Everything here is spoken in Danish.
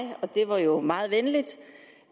og det var jo meget venligt